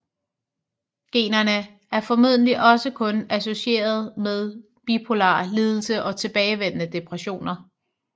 Generne er formodentlig også kun associerede med bipolar lidelse og tilbagevendende depressioner